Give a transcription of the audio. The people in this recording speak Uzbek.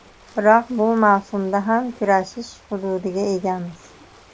Biroq bu mavsumda ham kurashish huquqiga egamiz.